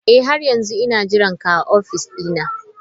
Eh har yanzu ina jiranka a ofis dina.